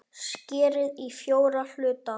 Skerið í fjóra hluta.